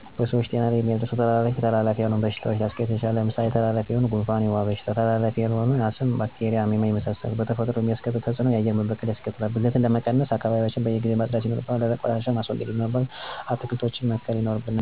በሰዎች ጤና ላይ የሚያደርሰዉ ተጽኖ:-ተላላፊ ና ተላላፊ ያልሆኑ በሽታዎች ሊያሰከትል ይችላል። ለምሳሌ ተላላፊ የሆኑት:-የጉንፍን በሽታ፣ የወባ በሽታ ተላላፊ ያልሆኑ በሽታዎች :-አስም፣ ባክቴርያ፣ አሜባና የመሳሰሉት መከሰቱ ይችላሉ። በተፈጥሮ ላይ የሚያስከትለው ተጽእኖ :-የአየር መበከል ያስከትላል። ብክለትን ለመቀነስ :-አካባቢዎችያችን በየጊዜው ማጽዳት ይናርብናል። ለምሳሌ ደረቅ ቆሻሻወችን በማቃጠል፣ ፈሳሽ ቆሻሻወችን በማፋሰስ፣ እርጥብ ቆሻሻወችን በመቅበር ማስወገድ ይኖርብናል። ዛፎችን መተሰከል፣ በካይ ጋዞችን አለመልቀቅ፣ ጭሳጭስ ነገሮችን ቀለነጠቀም ናቸው።